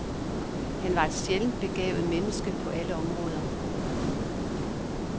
Han var et sjældent begavet menneske på alle områder.